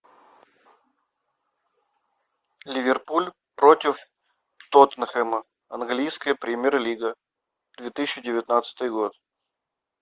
ливерпуль против тоттенхэма английская премьер лига две тысячи девятнадцатый год